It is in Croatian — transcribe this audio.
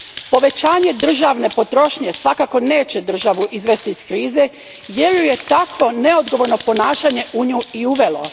Povećanje državne potrošnje svakako neće državu izvesti iz krize jer ju je takvo neodgovorno ponašanje u nju i uvelo.